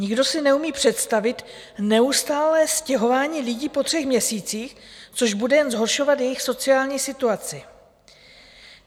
Nikdo si neumí představit neustálé stěhování lidí po třech měsících, což bude jen zhoršovat jejich sociální situaci.